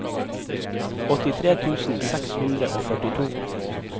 åttitre tusen seks hundre og førtito